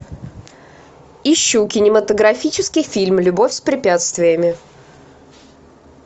ищу кинематографический фильм любовь с препятствиями